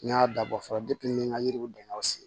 N y'a dabɔ fɔlɔ n ye n ka yiriw bɛn an sen